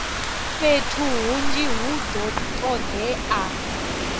fhethu hunzhi hu do todea